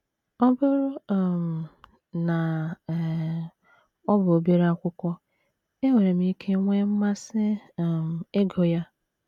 “ Ọ bụrụ um na um ọ bụ obere akwụkwọ, enwere m ike nwee mmasị um ịgụ ya.